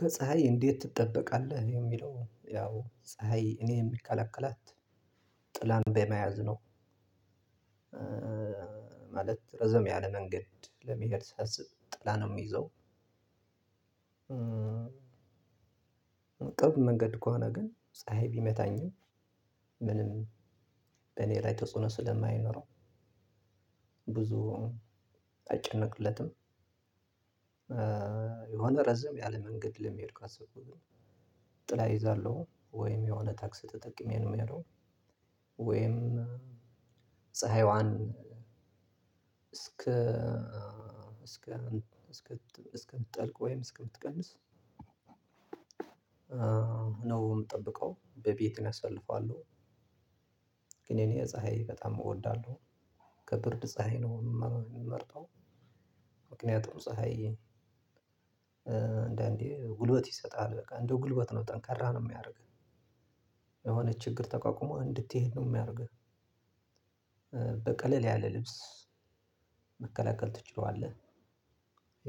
ከፀሀይ እንዴት ትጠበቃለህ የሚለው ያው ፀሀይ እኔ የምከላከላት ጥላን በመያዝ ነው። ማለት ረዘም ያለ መንገድ ለመሄድ ሳስብ ጥላ ነው የሚይዘው። ቅርብ መንገድ ከሆነ ግን ፀሀይ ቢመታኝም ምንም በእኔ ላይ ተጽዕኖ ስለማይኖረው ብዙ አልጨነቅለትም። የሆነ ረዘም ያለ መንገድ ለመሄድ ካሰብኩኝ ጥላ ይዛለሁ ወይም የሆነ ታክስ ተጠቅሜ ነው የሚያለው። ወይም ፀሀይዋን እስከ እስከ እስከ እስከ እስከ ብትጠልቅ ወይም እስከ ብትቀንስ ነው የምጠብቀው በቤቴም አሳልፈዋለሁ። ግን እኔ ፀሀይ በጣም እወዳለሁ። ከብርድ ፀሀይ ነው የምመርጠው። ብዙ አልጨነቅለትም የሆነ ረዘም ያለ መንገድ ለመሄድ ካሰብኩኝ ጥላ ይዛለሁ ወይም የሆነ ታክስ ተጠቅሜ ነው የሚያለው። ወይም ፀሀይዋን እስከ መከላከል ትችለዋለህ?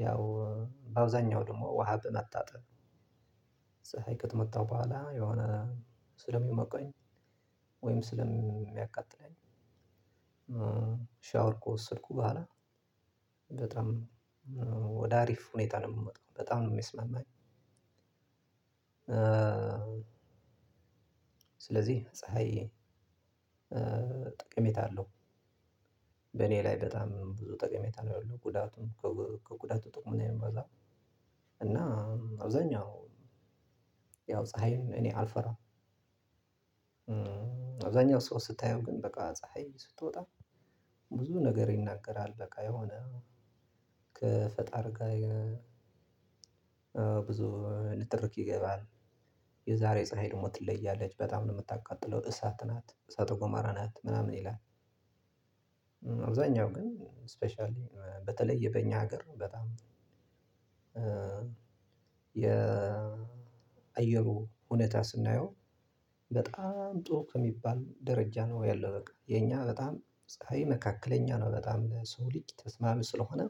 ያው በአውዛኛው ደግሞ ውሃ በመጣጠም ፀሀይ ከተመጣው በኋላ የሆነ ስለሚመቀኝ ወይም ስለሚያቃጥለኝ። በጠ ደየ አብዛኛው ሰው ስታየው ግን በቃ ፀሀይ ስትወጣ ብዙ ነገር ይናገራል በቃ የሆነ ከፈጣር ጋር ብዙ ንትርክ ይገባል። የዛሬ ፀሀይ ደግሞ ትለያለች በጣም ነው የምታቃጥለው እሳት ናት እሳት ጎመራ ናት ምናምን ይላል። አብዛኛው ግን ስፔሻሊ በተለየ በእኛ ሀገር ነው በጣም የአየሩ እውነታ ስናየው በጣም ጥሩ ከሚባል ደረጃ ነው ያለው። በቃ የኛ በጣም ፀሀይ መካከለኛ ነው በጣም ለሰው ልጅ ተስማሚ ስለሆነ።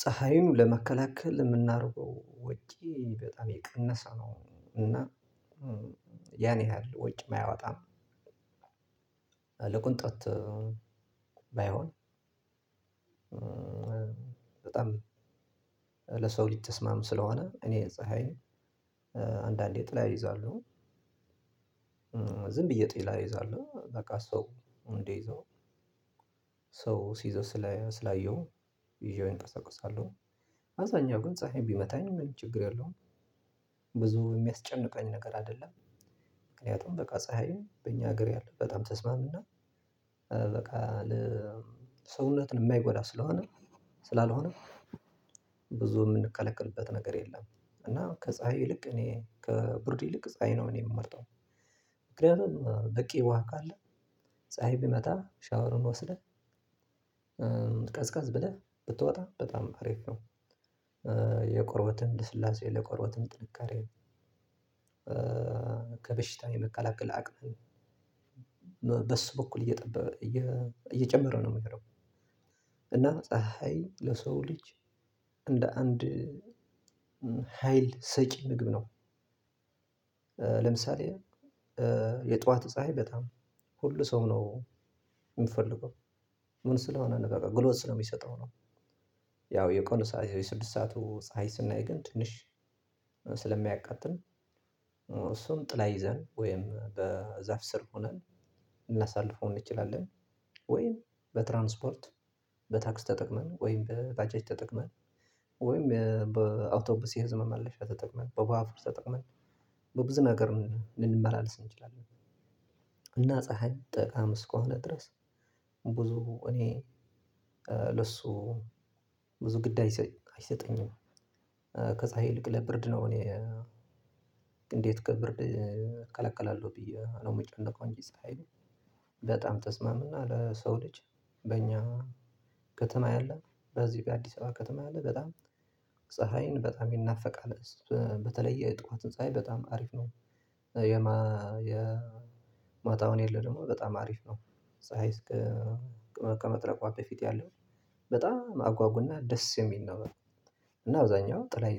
ፀሀዩን ለመከላከል የምናረገው ወጪ በጣም የቀነሰ ነው እና ያን ያህል ወጪ አያወጣም። ለቅንጦት ባይሆን በጣም ለሰው ልጅ ተስማሚ ስለሆነ እኔ ፀሀይ አንዳንዴ ጥላ ይዛለውኝ። ዝም ብዬ ጥላ ይዛለው በቃ ሰው እንዴ ይዘው ሰው ሲዘው ስላየሁ ይዤው እንቀሰቅሳለሁ። አብዛኛው ግን ፀሀይ ቢመታኝ ምንም ችግር የለውም ብዙ የሚያስጨንቃኝ ነገር አይደለም። ምክንያቱም በቃ ፀሀይም በእኛ ሀገር ያለው በጣም ተስማምና በቃ ሰውነትን የማይጎዳ ስለሆነ ስላልሆነ ብዙ የምንከላከልበት ነገር የለም። እና ከፀሀይ ይልቅ እኔ ከቡርድ ይልቅ ፀሀይ ነው እኔ የምመርጠው። ምክንያቱም በቂ ውሃ ካለ ፀሀይ ብመታም ሻወርን ወስደህ ቀዝቀዝ ብለህ ብትወጣ በጣም አሪፍ ነው። የቆርበትን ልስላሴ ለቆሮበትን ጥንካሬ ከበሽታ የመቀላቀል አቅም በሱ በኩል እየጠበበ እየጨመረ ነው። እናም ፀሀይ ለሰው ልጅ እንደ አንድ ሀይል ሰጪ ምግብ ነው። ለምሳሌ የጧት ፀሀይ በጣም ሁሉ ሰው ነው የሚፈልገው ምን ስለሆነ ነው በለው ጉልበት ስለሚሰጠው ነው። ያው የቀኑ ሰዓት የስድስት ሰዓቱ ፀሀይ ስናይ ግን ትንሽ ስለሚያቃጥል እሱን ጥላ ይዘን ወይም በዛፍ ስር ሆነን እናሳልፈው እንችላለን። ወይም በትራንስፖርት በታክስ ተጠቅመን ወይም በባጃጅ ተጠቅመን ወይም በአውቶቡስ የህዝብ መመለሻ ተጠቅመን በባቡር ተጠቅመን በብዙ ነገር ልንመላለስ እንችላለን። ወይም በትራንስፖርት በታክስ ተጠቅመን ወይም ባጃጅ ተጠቅመን ወይም በአውቶቡስ የህዝብ መመለሻ ተጠቅመን በባአቡር ተጠቅመን በብዙ ነገር ልንመላለስ እንችላለን። ብዙ ግድ አይሰጠኝም። ከፀሀይ ይልቅ ለብርድ ነው እኔ እንዴት ከብርድ እከለከላለሁ ብዬ ነው የምጨነቀው። እንጂ ፀሀይ በጣም ተስማምና ለሰው ልጅ በእኛ ከተማ ያለ በዚህ በአዲስ አበባ ከተማ ያለ በጣም ፀሀይን በጣም ይናፈቃል በተለይ የጧቷ ፀሀይ በጣም አሪፍ ናት። የማታዋ ላይ ያለው ደሞ በጣ